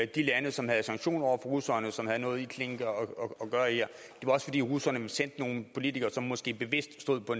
de lande som havde sanktioner over for russerne som havde noget at gøre her det var også fordi russerne havde sendt nogle politikere som måske bevidst stod på